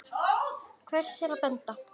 Hvers er að benda?